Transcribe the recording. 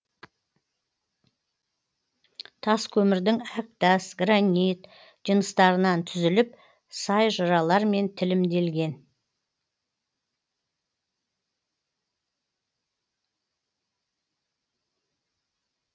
тас көмірдің әктас гранит жыныстарынан түзіліп сай жыралармен тілімделген